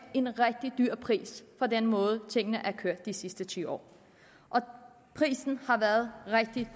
prisen for den måde tingene er kørt de sidste ti år og prisen har været rigtig